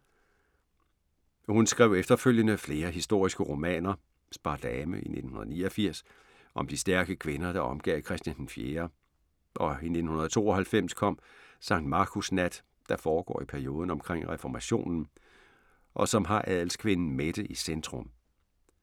Hun skrev efterfølgende flere historiske romaner: Spardame i 1989, om de stærke kvinder, der omgav Christian 4., og i 1992 kom Sankt Markus nat, der foregår i perioden omkring Reformationen og som har adelskvinden Mette i centrum.